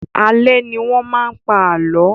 Alẹ́ ní wọn máa ń pa àlọ́